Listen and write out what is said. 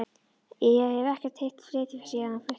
Ég hef ekkert hitt Friðþjóf síðan hann flutti.